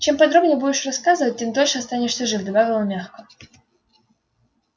чем подробнее будешь рассказывать тем дольше останешься жив добавил он мягко